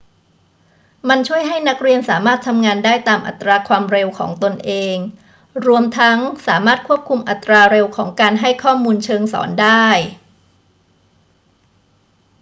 มันช่วยให้นักเรียนสามารถทำงานได้ตามอัตราความเร็วของตนเอง รวมทั้งสามารถควบคุมอัตราเร็วของการให้ข้อมูลเชิงสอนได้